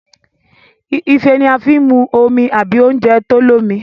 Ife ní a fín mú omí àbí oúnjẹ tó l'omi